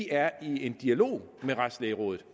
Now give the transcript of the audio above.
er i en dialog med retslægerådet